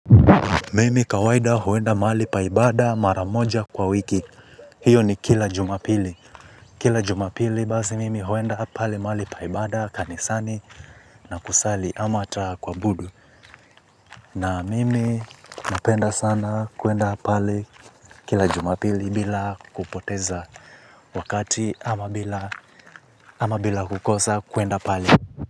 Mimi kawaida huenda mali pa ibada maramoja kwa wiki. Hiyo ni kila Jumapili. Kila Jumapili basi mimi huenda pale mahali pa ibada kanisani na kusali ama ata kuwabudu. Na mimi napenda sana kuenda pale kila Jumapili bila kupoteza wakati ama bila kukosa kuenda pale.